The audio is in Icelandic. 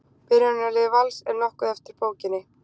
Byrjunarlið Vals er nokkuð eftir bókinni.